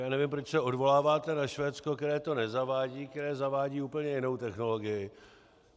Já nevím, proč se odvoláváte na Švédsko, které to nezavádí, které zavádí úplně jinou technologii.